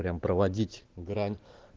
прям проводить грань